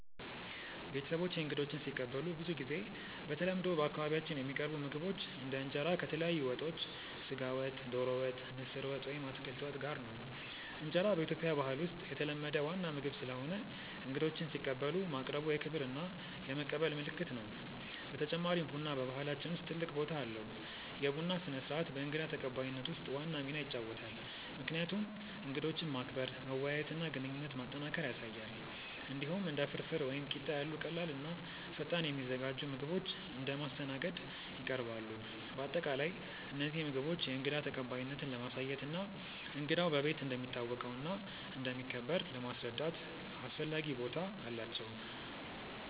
ቤተሰቦቼ እንግዶችን ሲቀበሉ ብዙ ጊዜ በተለምዶ በአካባቢያችን የሚቀርቡ ምግቦች እንደ እንጀራ ከተለያዩ ወጦች (ስጋ ወጥ፣ ዶሮ ወጥ፣ ምስር ወጥ ወይም አትክልት ወጥ) ጋር ነው። እንጀራ በኢትዮጵያ ባህል ውስጥ የተለመደ ዋና ምግብ ስለሆነ እንግዶችን ሲቀበሉ ማቅረቡ የክብር እና የመቀበል ምልክት ነው። በተጨማሪም ቡና በባህላችን ውስጥ ትልቅ ቦታ አለው፤ የቡና ስነ-ስርዓት በእንግዳ ተቀባይነት ውስጥ ዋና ሚና ይጫወታል፣ ምክንያቱም እንግዶችን ማክበር፣ መወያየት እና ግንኙነት ማጠናከር ያሳያል። እንዲሁም እንደ ፍርፍር ወይም ቂጣ ያሉ ቀላል እና ፈጣን የሚዘጋጁ ምግቦች እንደ ማስተናገድ ይቀርባሉ። በአጠቃላይ እነዚህ ምግቦች የእንግዳ ተቀባይነትን ለማሳየት እና እንግዳው በቤት እንደሚታወቀው እና እንደሚከበር ለማስረዳት አስፈላጊ ቦታ አላቸው።